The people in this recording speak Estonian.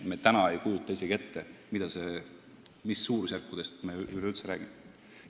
Me täna ei kujuta isegi ette, mis suurusjärkudest me üleüldse räägime.